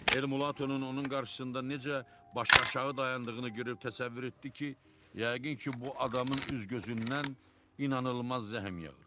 Elmulatonun onun qarşısında necə başıaşağı dayandığını görüb təsəvvür etdi ki, yəqin ki, bu adamın üz-gözündən inanılmaz zəhm yağır.